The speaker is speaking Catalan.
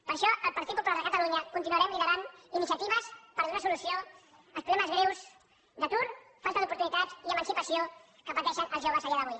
per això el partit popular de catalunya continuarem liderant iniciatives per donar solució als problemes greus d’atur falta d’oportunitats i emancipació que pateixen els joves a dia d’avui